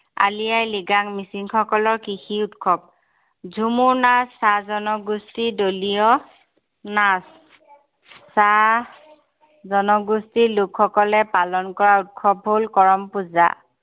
আলি আই লিগাং মিছিং সকলৰ কৃষি উৎসৱ। ঝুমুৰ নাচ চাহ জনগোষ্ঠীৰ দলীয় নাচ। চাহ জনগোষ্ঠীৰ লোকসকলে পালন কৰা উৎসৱ হল কৰম পূজা।